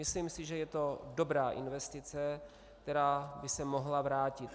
Myslím si, že je to dobrá investice, která by se mohla vrátit.